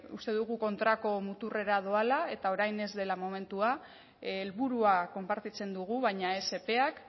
uste dugu kontrako muturrera doala eta orain ez dela momentua helburua konpartitzen dugu baina ez epeak